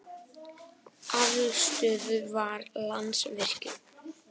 Aflstöðvar- Landsvirkjun.